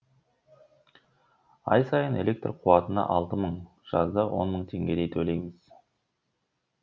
ай сайын электр қуатына алты мың жазда он мың теңгедей төлейміз